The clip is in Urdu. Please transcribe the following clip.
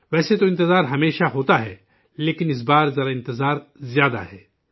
ویسے تو انتظار ہمیشہ ہوتا ہے لیکن اس بار ذرا انتظار زیادہ ہے